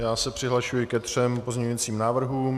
Já se přihlašuji ke třem pozměňujícím návrhům.